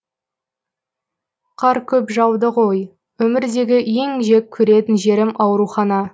қар көп жауды ғой өмірдегі ең жек көретін жерім аурухана